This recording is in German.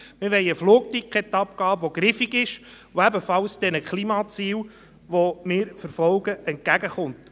Wir wollen eine Flugticketabgabe, die griffig ist, die ebenfalls den Klimazielen, die wir verfolgen, entgegenkommt.